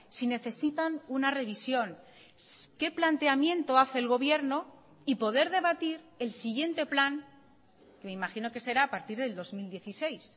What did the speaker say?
si necesitan una revisión qué planteamiento hace el gobierno y poder debatir el siguiente plan me imagino que será a partir del dos mil dieciséis